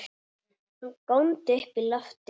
Hann góndi upp í loftið!